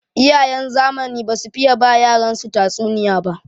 Iyayen zamani basu fiye ba yaransu tatsuniya ba.